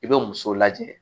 I bɛ muso lajɛ